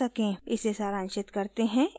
इसे सारांशित करते हैं